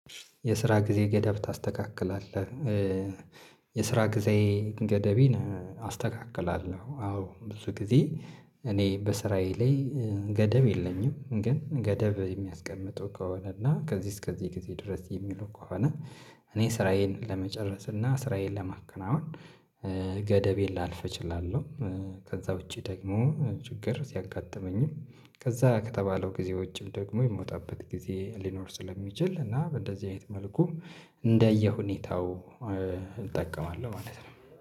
የስራ ጊዜ ገደብ ታስተካክላለህ? የስራ ጊዜ ገደቤን አስተካክላለሁ። አዎ ብዙ ጊዜ እኔ በስራዬ ላይ ገደብ የለኝም። ግን ገደብ የሚያስቀምጡ ከሆነ እና ከዚህ እስከዚህ ጊዜ ድረስ የሚሉ ከሆነ። እኔ ስራዬን ለመጨረስ እና ስራዬን ለማከናወን ገደቤን ላልፍ እችላለሁ። ከዛ ውጪ ደግሞ ችግር ሲያጋጥመኝም ከዛ ከተባለው ጊዜ ውጪም ደግሞ የምወጣበት ጊዜ ሊኖር ስለሚችል እና እንደዚህ አይነት መልኩ እንደየሁኔታው። እጠቀማለሁ ማለት ነው